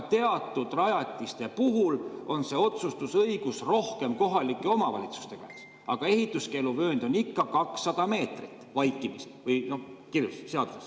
Teatud rajatiste puhul on see otsustusõigus rohkem kohalike omavalitsuste käes, aga ehituskeeluvöönd on ikka 200 meetrit vaikimisi või kirjutatud seadusesse.